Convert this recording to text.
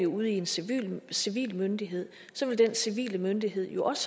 ud i en civil en civil myndighed så vil den civile myndighed jo også